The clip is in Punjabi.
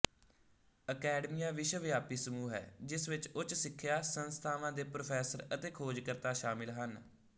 ਅਕੈਡਮੀਆ ਵਿਸ਼ਵਵਿਆਪੀ ਸਮੂਹ ਹੈ ਜਿਸ ਵਿੱਚ ਉੱਚ ਸਿੱਖਿਆ ਸੰਸਥਾਵਾਂ ਦੇ ਪ੍ਰੋਫੈਸਰ ਅਤੇ ਖੋਜਕਰਤਾ ਸ਼ਾਮਲ ਹਨ